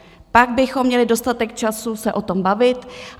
Pak bychom měli dostatek času se o tom bavit.